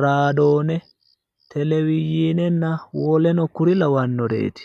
raadoone telewizhiinenna woleno kuri lawannoreeti.